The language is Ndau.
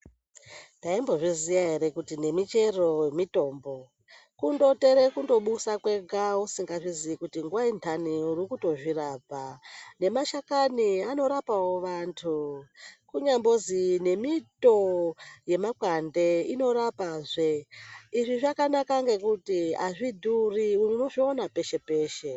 Ndaimbozviziya ere kuti nemichero mitombo. Kundotere kundobusa kwega usingazviziyi kuti nguwa intani uri kutozvirapa. Nemashakani anorapawo vantu, kunyambozi nemito yemakwande inorapazve. Izvi zvakanaka ngekuti azvidhuri, unozviona peshe-peshe.